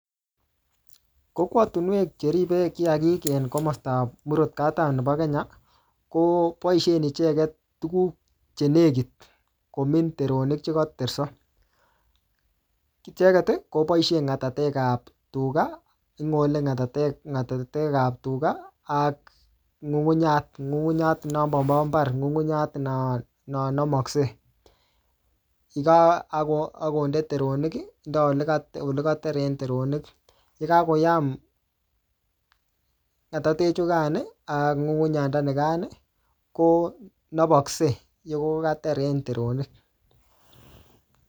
Kokwatunwek che ribe kiyagik en komasta ap murot katam nebo Kenya, koboisien icheket tugun che nekit komin teronik chekaterso. Icheket, koboisie ng'atatek ap tuga, ngole ng'atatek-ng'atatek ap tuga, ak ng'ung'unyat ng'ung'unyat non mobo mbar, ng'ung'unyat no namaksei. Yek akonde teronik, indoi ole ka-ole kater en teronik. Ye kakoyam ng'atatek chukaan ak ng'ung'unyanda nekaan, konapaksei, yekokater en teronik